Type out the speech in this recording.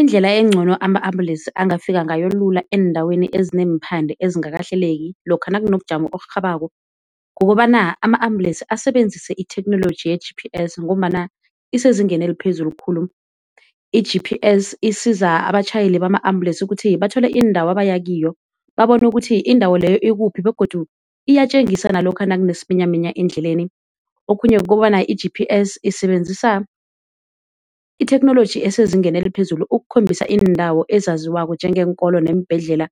Indlela encono ama-ambulesi angafika ngayo lula eendaweni ezineemphande ezingakahleleki lokha nakunobujamo oburhabako kukobana ama-ambulesi asebenzise itheknoloji ye-G_P_S ngombana isezingeni eliphezulu khulu. I-G_P_S isiza abatjhayeli bama ambulesi ukuthi bathole iindawo abaya kiyo, babone ukuthi indawo leyo ikuphi begodu iyatjengisa nalokha nakunesiminyaminya endleleni. Okhunye kukobana i-G_P_S isebenzisa itheknoloji esezingeni eliphezulu ukukhombisa iindawo ezaziwako njengeenkolo neembhedlela